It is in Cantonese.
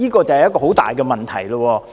這是一個很大的問題。